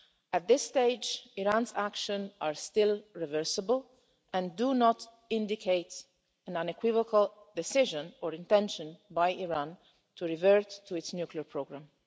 At this stage, Iran's actions are still reversible and do not indicate an unequivocal decision or intention by Iran to revert to its nuclear programme.